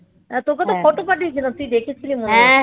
তোকে তো ফটো পাঠিয়েছিলাম তুই দেখেছিলি মনে হয় স হ্যাঁ হ্যাঁ দেখেছিল দেখেছি বলেই